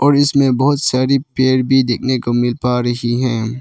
और इसमें बहुत सारी पेड़ भी देखने को मिल पा रही है।